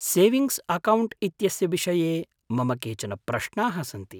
Savings account इत्यस्य विषये मम केचन प्रश्नाः सन्ति।